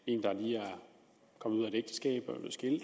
lige kommet ud af et ægteskab og